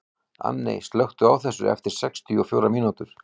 Anney, slökktu á þessu eftir sextíu og fjórar mínútur.